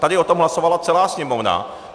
Tady o tom hlasovala celá Sněmovna.